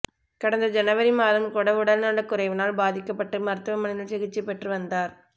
கடந்த ஜனவரி மாதம் கூட உடல்நலக்குறைவினால் பாதிக்கப்பட்டு மருத்துவமனையில் சிகிச்சை பெற்று வந்தார்